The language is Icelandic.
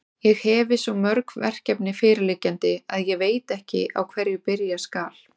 Ég hefi svo mörg verkefni fyrirliggjandi, að ég veit ekki, á hverju byrja skal.